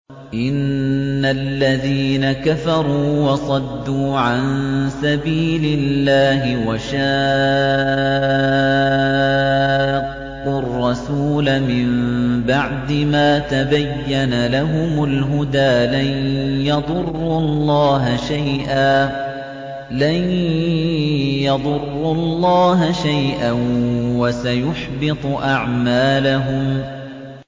إِنَّ الَّذِينَ كَفَرُوا وَصَدُّوا عَن سَبِيلِ اللَّهِ وَشَاقُّوا الرَّسُولَ مِن بَعْدِ مَا تَبَيَّنَ لَهُمُ الْهُدَىٰ لَن يَضُرُّوا اللَّهَ شَيْئًا وَسَيُحْبِطُ أَعْمَالَهُمْ